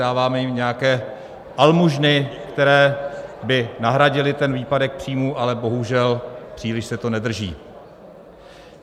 Dáváme jim nějaké almužny, které by nahradily ten výpadek příjmů, ale bohužel, příliš se to nedaří.